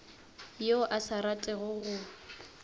yo a sa ratego go